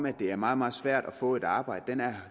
at det er meget meget svært at få et arbejde er